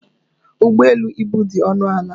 Ụgbọ elu ibu dị ọnụ ala.